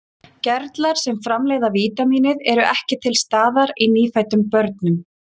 Gerlar sem framleiða vítamínið eru ekki til staðar í nýfæddum börnum.